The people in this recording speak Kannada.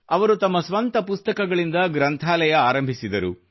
ಅವರು ತಮ್ಮ ಸ್ವಂತ ಪುಸ್ತಕಗಳಿಂದ ಗ್ರಂಥಾಲಯ ಆರಂಭಿಸಿದರು